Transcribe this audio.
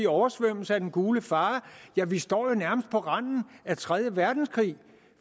oversvømmet af den gule fare ja vi står jo nærmest på randen af tredje verdenskrig